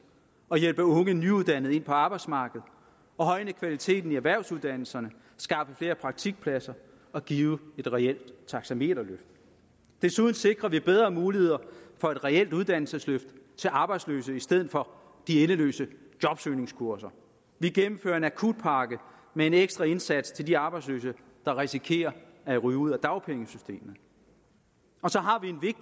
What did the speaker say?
og hjælpe unge nyuddannede ind på arbejdsmarkedet og højne kvaliteten i erhvervsuddannelserne skaffe flere praktikpladser og give et reelt taxameterløft desuden sikrer vi bedre muligheder for et reelt uddannelsesløft til arbejdsløse i stedet for de endeløse jobsøgningskurser vi gennemfører en akutpakke med en ekstra indsats til de arbejdsløse der risikerer at ryge ud af dagpengesystemet og så har